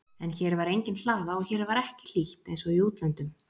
En hér var engin hlaða og hér var ekki hlýtt einsog í útlöndum.